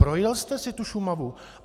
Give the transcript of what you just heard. Projel jste si tu Šumavu?